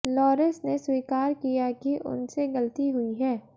loris ने स्वीकार किया कि उनसे गलती हुई है